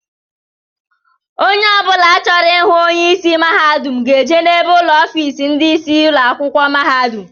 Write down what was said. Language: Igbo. Ónyé ọbula chọrọ ịhụ onye ịsị mahadum ga-eje n'ebe ụlọ ọfiisi ndị isi ụlọ akwụkwọ mahadum.